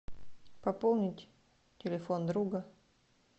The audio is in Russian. пополнить телефон друга